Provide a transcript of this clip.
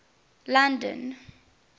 london